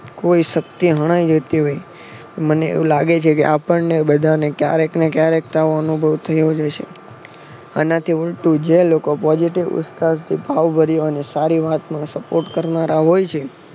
કોઈ શક્તિ હણાય જતી હોય મને એવું લાગે છે કે આપણને બધાને કયારેક ને ક્યારેક તો આવો અનુભવ થયો જ હશે. આના થી ઉલટું જે લોકો positive ભાવભર્યો અને સારી વાતમાં સપોર્ટ કરનારા હોય છે.